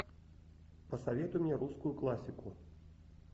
посоветуй мне русскую классику